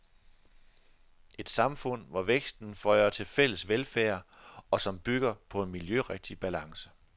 Et samfund, hvor væksten fører til fælles velfærd, og som bygger på en miljørigtig balance.